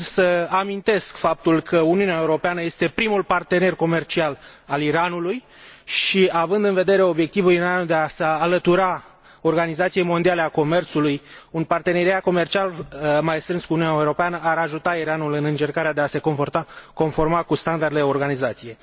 Țin să amintesc faptul că Uniunea Europeană este primul partener comercial al Iranului și, având în vedere obiectivul Iranului de a se alătura Organizației Mondiale a Comerțului, un parteneriat comercial mai strâns cu Uniunea Europeană ar ajuta Iranul în încercarea de a se conforma standardelor organizației.